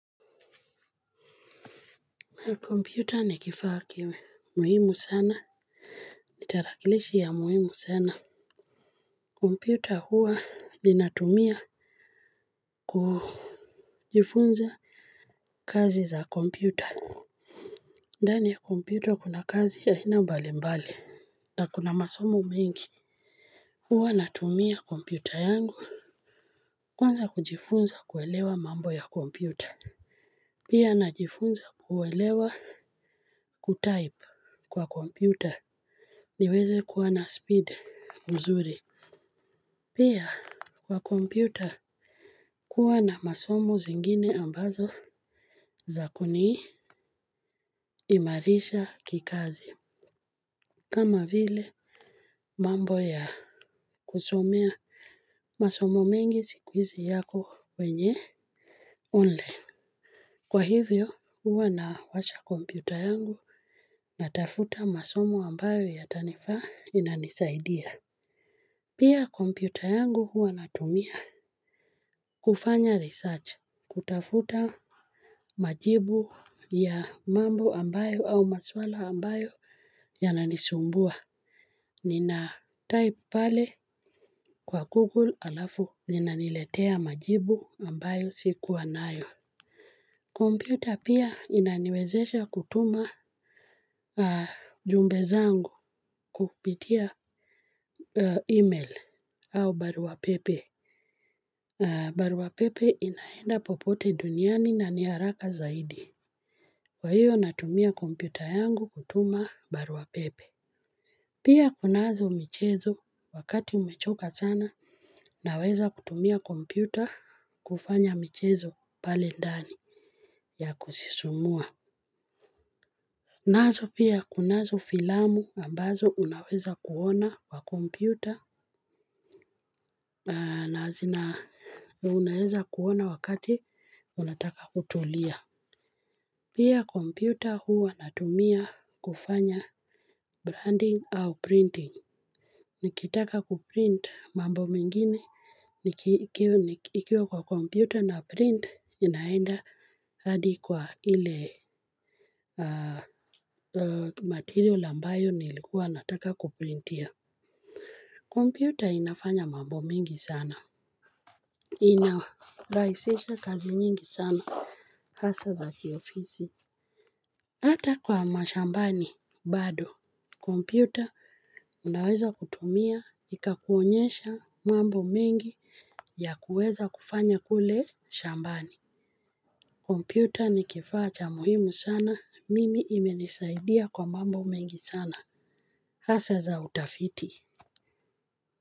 Kompyuta ni kifaa muhimu sana kitarakilishi ya muhimu sana. Kompyuta huwa linatumia kujifunza kazi za kompyuta. Ndani ya kompyuta kuna kazi ya aina mbali mbali. Na kuna masomo mengi huwa natumia kompyuta yangu kwanza kuelewa mambo ya kompyuta. Pia najifunza kuelewa kutype kwa kompyuta. Niweze kuwa na speed mzuri. Pia kwa kompyuta kuwa na masomo zingine ambazo za kuniimarisha kikazi. Kama vile mambo ya kusomea masomo mengi siku hizi yako wenye online. Kwa hivyo huwa nawasha kompyuta yangu natafuta yale masomo ambayo yatanifaa inanisaidia. Pia kompyuta yangu huwa natumia kufanya research kutafuta majibu ya mambo ambayo au maswala ambayo yananisumbua. Ninatype pale kwa Google alafu zinaniletea majibu ambayo sikuwa nayo. Kompyuta pia inaniwezesha kutuma jumbe zangu kupitia email au baruppa pepe. Barua pepe inaenda popote duniani na ni haraka zaidi. Kwa hiyo natumia kompyuta yangu kutuma barua pepe. Pia kunazo michezo wakati umechoka sana naweza kutumia kompyuta kufanya michezo pale ndani ya kusisumua. Nazo kunazo filamu ambazo unaweza kuona kwa kompyuta na unaweza kuona wakati unataka kutulia. Pia kompyuta huwa natumia kufanya branding au printing. Nikitaka kuprint mambo mingine, nikiwa kwa kompyuta na print inaenda hadi kwa ile material ambayo nilikuwa nataka kuprintia. Kompyuta inafanya mambo mingi sana. Inarahisisha kazi nyingi sana. Hasa za kiofisi. Hata kwa mashambani bado kompyua unaweza kutumia ikakuonyesha mambo mingi ya kuweza kufanya kule shambani kompyuta ni kiifaa cha muhimu sana. Mimi imenisaidia kwa mambo mingi sana hasa za utafiti.